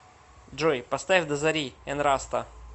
джой поставь до зари энраста